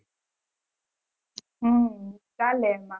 હમ ચાલે એમાં